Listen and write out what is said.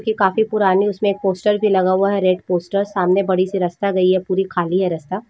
यह काफी पुरानी उसमे एक पोस्टर भी लगा हुआ है रेड पोस्टर सामने बड़ी सी रास्ता गई हे पूरी खाली है रास्ता।